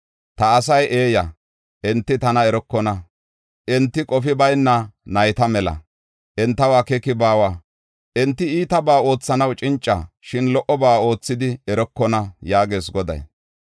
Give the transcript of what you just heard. “Ta asay eeya; enti tana erokona. Enti qofi bayna nayta mela; entaw akeeki baawa. Enti iitabaa oothanaw cinca; shin lo77oba oothidi erokona” yaagees Goday.